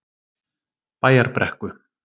Bæjarbrekku